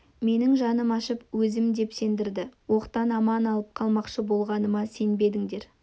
менің жаным ашып өзім деп сендерді оқтан аман алып қалмақшы болғаныма сенбедіңдер